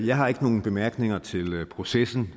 jeg har ikke nogen bemærkninger til processen